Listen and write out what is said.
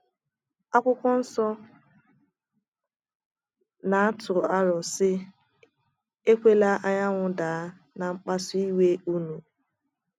akwụkwo nsọ na - atụ aro, sị: “ Ekwela anyanwụ daa ná mkpasu iwe ụnụ. ”